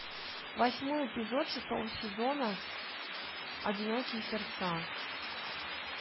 восьмой эпизод шестого сезона одинокие сердца